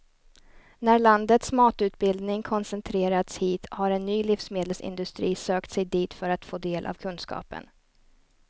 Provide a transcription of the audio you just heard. När landets matutbildning koncentrerats hit har en ny livsmedelsindustri sökt sig dit för att få del av kunskapen.